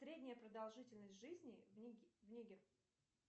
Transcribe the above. средняя продолжительность жизни в нигер